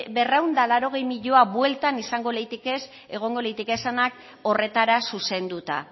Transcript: berrehun eta laurogei milioi bueltan izango leitekez egongo leitekezanak horretara zuzenduta